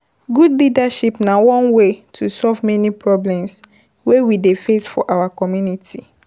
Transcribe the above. Good leadership na one way to solve many problem wey we dey face for our community